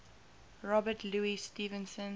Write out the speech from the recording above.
robert louis stevenson